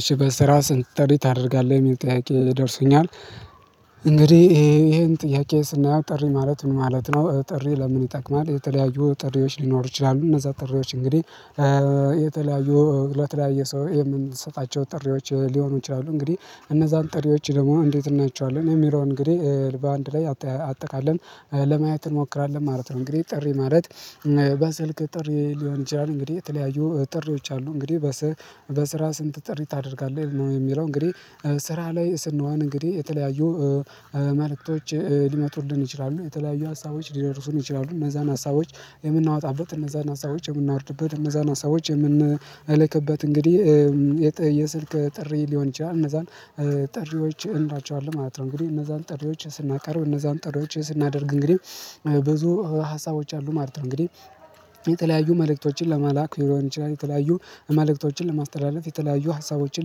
እሺ በስራ ስንት ጠሪት አደርጋለሁ የሚጠያቂ ደርሶኛል። ይህን ጥያቄ ስናየው ጥሪ ማለት ምን ማለት ነው? ጥሪ ለምን ይጠቅማል። የተለያዩ ጥሪዎች ሊኖሩ ይችላሉ እነዛ ጥሪዎች እንግዲህ። የተለያዩ ለተለያየ ሰው የምንሰጣቸው ጥሪዎች ሊሆኑ ይችላሉ። እንግዲህ እነዛን ጥሪዎች ደግሞ እንዴት እናያቸዋለን? የሚለው እንግዲህ በአንድ ላይ አጠቃለን ለማየት እንሞክራለን ማለት ነው። እንግዲህ ጥሪ ማለት። በስልክ ጥሪ ሊሆን ይችላል እንግዲህ የተለያዩ ጥሪዎች አሉ እንግዲህ። በስራ ስንት ጥሪ ታደርጋለህ? የሚለው እንግዲህ ስራ ላይ ስንሆን እንግዲህ የተለያዩ መልእክቶች ሊመጡልን ይችላሉ። የተለያዩ ሀሳቦች ሊረርፉን ይችላሉ እነዛን ሀሳቦች የምናወጣበት እነዛን ሀሳቦች የምናወርድበት እነዛን ሀሳቦች የምንልክበት እንግዲህ የስልክ ጥሪ ሊሆን ይችላል። እነዛን ጥሪዎች እንላቸዋለሁ ማለት ነው። እንግዲህ እነዛን ጥሪዎች ስናቀርብ እነዛን ጥሪዎች ስናደርግ እንግዲህ ብዙ ሀሳቦች አሉ ማለት ነው። እንግዲህ የተለያዩ መልእክቶችን ለማላክ ሊሆን ይችላል። የተለያዩ መልእክቶችን ለማስተላለፍ የተለያዩ ሀሳቦችን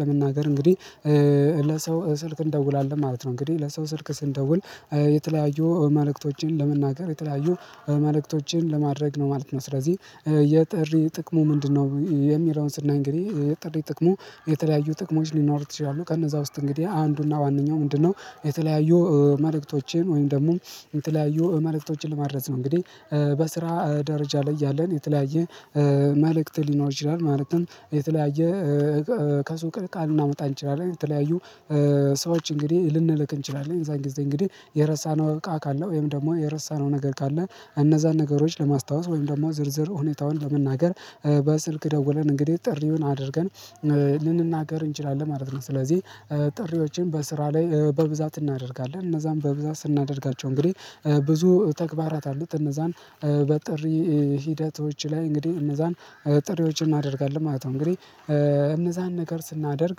ለመናገር እንግዲህ። ለሰው ስልክ እንደውላለን ማለት ነው። እንግዲህ ለሰው ስልክ ስንደውል የተለያዩ መልእክቶችን ለመናገር የተለያዩ መልእክቶችን ለማድረግ ነው ማለት ነው። ስለዚህ የጥሪ ጥቅሙ ምንድነው? የሚለውን ስናኝ እንግዲህ የጥቅሙ የተለያዩ ጥቅሞች ሊኖሩ ይችላሉ። ቀን እዛ ውስጥ እንግዲህ አንዱና ዋናው ምንድነው? የተለያዩ መልእክቶቼን ወይም ደግሞ የተለያዩ መልእክቶችን ለማድረስ ነው እንግዲህ። በስራ ደረጃ ላይ ያለን የተለያየ መልእክት ሊኖር ይችላል። ማለትም የተለያየ ከሱቅ እቃ መምጣት እንችላለን። የተለያዩ ሰዎች እንግዲህ ልንልክ እንችላለን። የዛን ጊዜ እንግዲህ የረሳነው እቃ ካለው ወይም ደግሞ የረሳነው ነገር ካለ እነዛን ነገሮች ለማስታወስ ወይም ደግሞ ዝርዝር ሁኔታውን ለመናገር። በስልክ ደውለን እንግዲህ ጥሪምን አድርገን ልንናገር እንችላለን ማለት ነው። ስለዚህ ጥሪዎችን በስራ ላይ በብዛት እናደርጋለን። እነዛን በብዛት ስናደርጋቸው እንግዲህ ብዙ ተግባራት አሉት። እነዛን በጥሪ ሂደቶች ላይ እንግዲህ እነዛን ጥሪዎችን እናደርጋለን ማለት ነው። እንግዲህ እነዛን ነገር ስናደርግ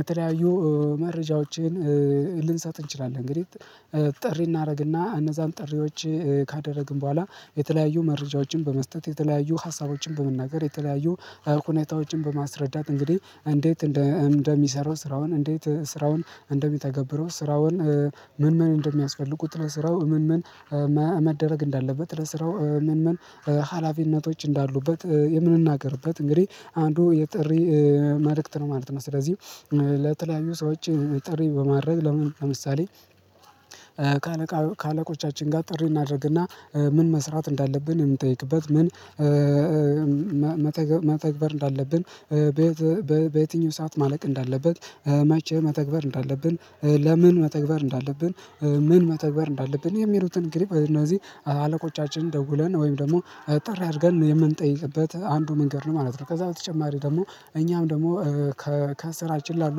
የተለያዩ መረጃዎችን ልንሰጥ እንችላለን። እንግዲህ ጥሪ እናደርግና እነዛን ጥሪዎች ካደረግን በኋላ የተለያዩ መረጃዎችን በመስጠት የተለያዩ ሀሳቦችን በመናገር የተለያዩ ሁነታዎችን በማስረዳት እንግዲህ እንዴት እንደሚሰሩ ስራውን እንዴት ስራውን እንደሚተገብሩ ስራውን ምን ምን እንደሚያስፈልጉ? ቁጥር ስራው ምን ምን መደረግ እንዳለበት ለስራው ምን ምን ሀላፊነቶች እንዳሉበት። የምንናገርበት እንግዲህ አንዱ የጥሪ መልእክት ነው ማለት ነው። ስለዚህ ለተለያዩ ሰዎች ጥሪ በማድረግ ለምን ለምሳሌ። ከአለቃ ከአለቆቻችን ጋር ጥሪ እናድርግና ምን መስራት እንዳለብን የምጠይቅበት ምን መተግበር እንዳለብን በየትኛው ሰዓት ማለቅ እንዳለበት መቼህ መተግበር እንዳለብን ለምን መተግበር እንዳለብን ምን መተግበር እንዳለብን የሚሉትን ግሪፕ እነዚህ አለቆቻችንን ደውለን ወይም ደግሞ ጥሪ አድርገን የምንጠይቅበት አንዱ መንገድ ነው ማለት ነው። ከዛ በተጨማሪ ደግሞ እኛም ደግሞ ከስራችን ላሉ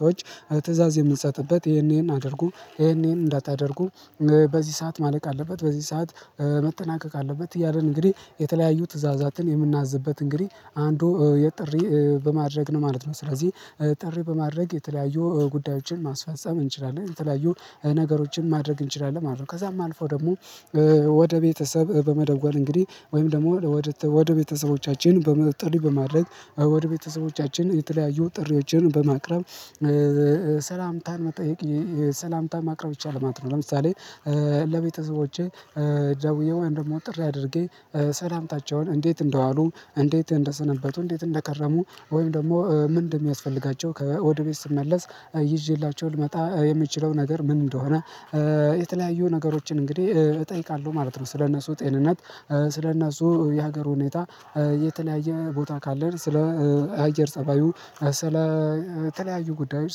ሰዎች። ትእዛዝ የምንሰጥበት ይሄንን አድርጉ ይሄንን እንዳታደርጉ በዚህ ሰዓት ማለቅ አለበት። በዚህ ሰዓት መጠናቀቅ አለበት። እያልን እንግዲህ የተለያዩ ትእዛዛትን የምናዝበት እንግዲህ አንዱ የጥሪ በማድረግ ነው ማለት ነው። ስለዚህ ጥሪ በማድረግ የተለያዩ ጉዳዮችን ማስፈጸም እንችላለን። የተለያዩ ነገሮችን ማድረግ እንችላለን ማለት ነው። ከዛም አልፎ ደግሞ ወደ ቤተሰብ በመደወል እንግዲህ ወይም ደግሞ ወደ ቤተሰቦቻችን ጥሪ በማድረግ ወደ ቤተሰቦቻችን የተለያዩ ጥሪዎችን በማቅረብ ሰላምታን መጠየቅ ሰላምታን ማቅረብ ይቻላል ማለት ነው። ለምሳሌ ለቤተሰቦቼ ደውዬ ወይም ደግሞ ጥሪ አድርጌ ሰላምታቸውን እንዴት እንደዋሉ እንዴት እንደሰነበቱ እንዴት እንደከረሙ ወይም ደግሞ ምን እንደሚያስፈልጋቸው ከወደ ቤት ስመለስ ይዤላቸው ልመጣ የምችለው ነገር ምን እንደሆነ? የተለያዩ ነገሮችን እንግዲህ እጠይቃለሁ ማለት ነው። ስለእነርሱ ጤንነት ስለእነርሱ የሀገር ሁኔታ የተለያየ ቦታ ካለን ስለ አየር ፀባዩ ስለ ተለያዩ ጉዳዮች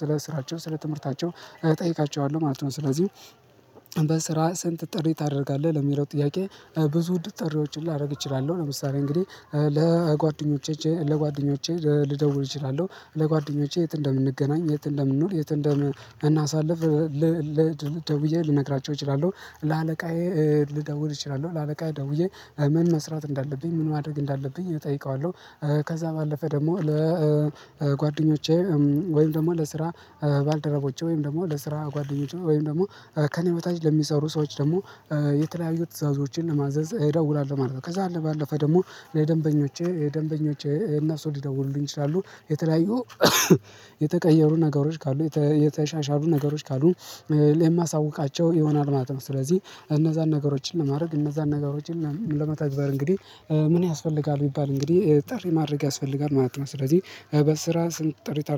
ስለ ስራቸው ስለ ትምህርታቸው እጠይቃቸዋለሁ ማለት ነው። ስለዚህ በስራ ስንት ጥሪ ታደርጋለህ? ለሚለው ጥያቄ ብዙ ጥሪዎችን ላደርግ እችላለሁ። ለምሳሌ እንግዲህ ለጓደኞቼ ለጓደኞቼ ልደውል እችላለሁ። ለጓደኞቼ የት እንደምንገናኝ የት እንደምንሆን የት እንደምናሳልፍ። ደውዬ ልነግራቸው እችላለሁ። ለአለቃዬ ልደውል እችላለሁ ለአለቃዬ ደውዬ ምን መስራት እንዳለብኝ ምን ማድረግ እንዳለብኝ እጠይቀዋለሁ። ከዛ ባለፈ ደግሞ ለጓደኞቼ ወይም ደግሞ ለስራ ባልደረቦቼ ወይም ደግሞ ለስራ ጓደኞቼ ወይም ደግሞ ከእኔ በታች ለሚሰሩ ሰዎች ደግሞ የተለያዩ ትዕዛዞችን ለማዘዝ እደውላለሁ ማለት ነው። ከዛ ባለፈ ደግሞ ለደንበኞቼ ደንበኞቼ እነርሱ ሊደውሉልኝ ይችላሉ። የተለያዩ የተቀየሩ ነገሮች ካሉ የተሻሻሉ ነገሮች ካሉ የማሳውቃቸው የሆናል ማለት ነው። ስለዚህ እነዛን ነገሮችን ለማድረግ እነዛን ነገሮችን ለመተግበር እንግዲህ ምን ያስፈልጋል ቢባል እንግዲህ ጥሪ ማድረግ ያስፈልጋል ማለት ነው። ስለዚህ በስራ ስንት ጥሪ ታደርጋለህ